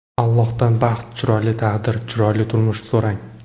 Allohdan baxt, chiroyli taqdir, chiroyli turmush so‘rang.